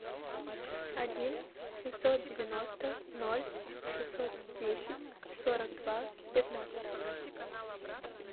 один семьсот девяносто ноль шестьсот десять сорок два пятнадцать